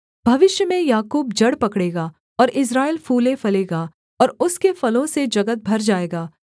भविष्य में याकूब जड़ पकड़ेगा और इस्राएल फूलेफलेगा और उसके फलों से जगत भर जाएगा